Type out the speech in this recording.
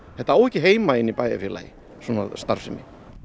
þetta á ekki heima í bæjarfélagi svona starfsemi